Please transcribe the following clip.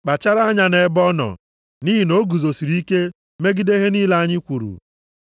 Kpachara anya nʼebe ọ nọ, nʼihi na o guzosiri ike megide ihe niile anyị kwuru.